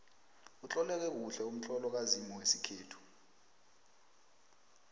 utloleke kuhle umtlolo kazimu wesikhethu